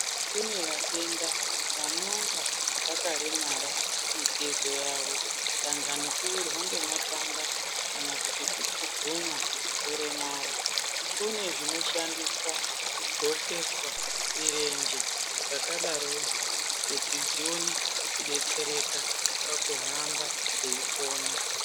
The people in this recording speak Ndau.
Kune vatenda vanonga vakaremara mitezo yavo dangani kuwirwa ngematanda kana kuti kupumhunwa, dangani kuremara kunezvinoshandiswa kudhlokeswa mirenje dzakadarodzo kuti dzione kudetsereka pakuhamba dzeipona.